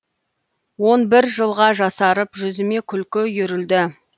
он бір жылға жасарып жүзіме күлкі үйірілді